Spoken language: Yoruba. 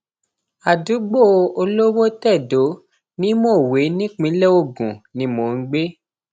àdúgbò olówótẹdó ni mòwe nípìnlẹ ogun ni mò ń gbé